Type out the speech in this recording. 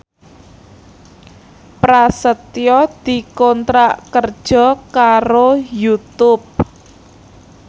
Prasetyo dikontrak kerja karo Youtube